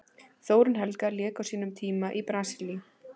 Þórunn Helga lék á sínum tíma í Brasilíu.